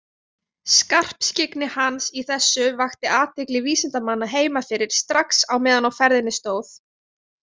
Skarpskyggni hans í þessu vakti athygli vísindamanna heima fyrir strax á meðan á ferðinni stóð.